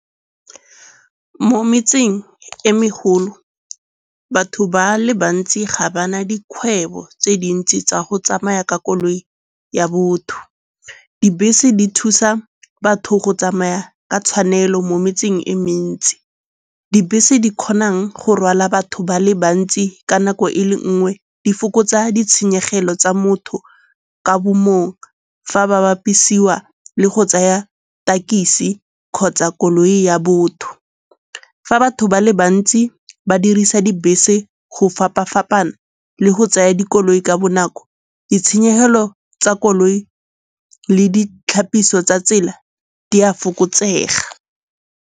Mo metseng e megolo batho ba le bantsi ga ba na dikgwebo tse dintsi tsa go tsamaya ka koloi ya botho. Dibese di thusa batho go tsamaya ka tshwanelo mo metseng e mentsi. Dibese di kgonang go rwala batho ba le bantsi ka nako e le nngwe, di fokotsa ditshenyegelo tsa motho ka bo mong fa ba bapisiwa le go tsaya tekisi kgotsa koloi ya botho. Fa batho ba le bantsi ba dirisa dibese go fapa-fapana le go tsaya dikoloi ka bonako, ditshenyegelo tsa koloi le ditlhapiso tsa tsela di a fokotsega.